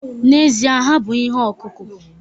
N'ezie. ha bụ ihe ọkụkụ